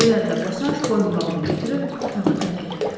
Bemerlə Bosaş boyunbağını götürüb otağı tərk etdilər.